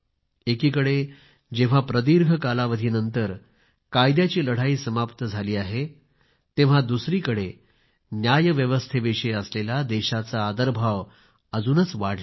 एकीकडे जेव्हा प्रदीर्घ कालावधीनंतर कायद्याची लढाई समाप्त झाली आहे तेव्हा दुसरीकडे न्यायव्यवस्थेविषयी असलेला देशाचा आदरभाव अजूनच वाढलेला आहे